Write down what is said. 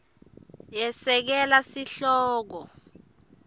yesekela sihloko